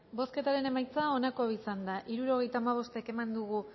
bozketaren emaitza onako izan da hirurogeita hamabost eman dugu